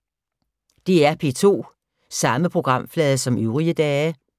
DR P2